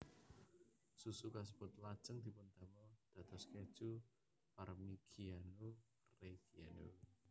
Susu kasebut lajeng dipundamel dados keju Parmigiano Reggiano